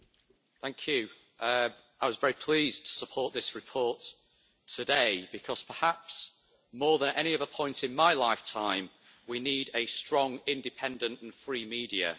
Mr President, I was very pleased to support this report today because perhaps, more than at any other point in my lifetime, we need a strong, independent and free media.